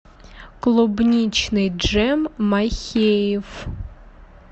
клубничный джем махеев